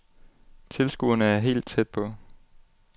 Tilskuerne er helt tæt på.